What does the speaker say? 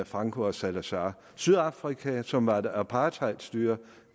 franco og salazar det sydafrika som var et apartheidstyre